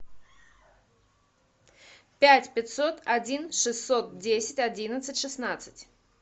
пять пятьсот один шестьсот десять одиннадцать шестнадцать